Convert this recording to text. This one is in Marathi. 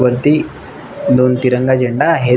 वरती दोन तिरंगा झेंडा आहेत.